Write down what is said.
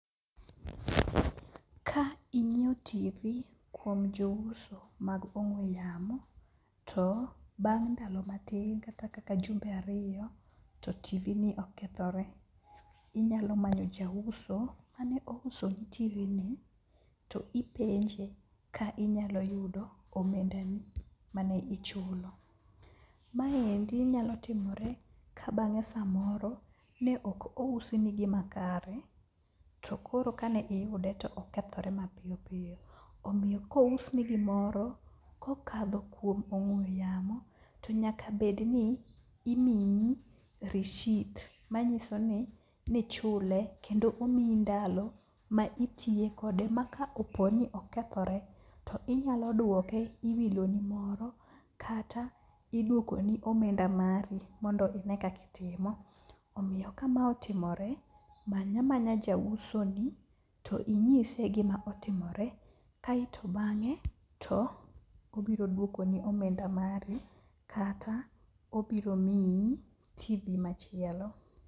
Ka inyieo Tv kuom jouso mag ong'we yamo to bang' ndalo matin kata kaka jumbe ariyo to Tv ni okethore, inyalo manyo jauso mane ousoni Tv ni to ipenje ka inyalo yudo omendani ma ne ichulo. Maendi nyalo timore ka bang'e samoro ne ok ousni gimakare to koro ka ne iyude to okethore mapiyop piyo, omiyo kousni gimoro kokadho kuom ong'we yamo to nyaka bed ni imiyi rishit many'iso ni ichule kendo omiyi ndalo ma itiye kode ma ka opo ni okethore to inyalo duoke iwiloni moro kata iduokoni omenda mari mondo ine kaka itimo omiyo ka ma otimore many amanya jausoni to inyise gima otimore kaeto bang'e to obiro dwokoni omenda mari kata obiromiyi Tv machielo.